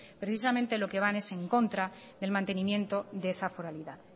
precisamente lo que van es en contra del mantenimiento de esa foralidad